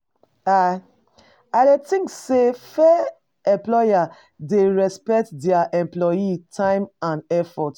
I I dey think say fair employer dey respect dia employees' time and effort.